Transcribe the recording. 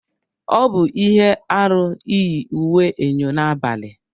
Ọ bụ ihe aru iyi uwe eyọ n'abalị.